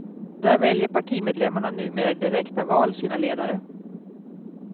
Där väljer partimedlemmarna numera i direkta val sina ledare.